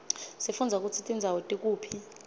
sifundza kutsi tindzawo tikuphi